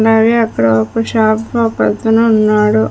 అలాగే అక్కడ ఒక షాపు ఒకతను ఉన్నాడు.